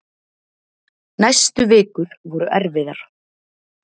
Næstu vikur voru erfiðar.